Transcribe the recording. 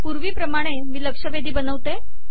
पूर्वीप्रमाणे मी लक्षवेधी बनवतो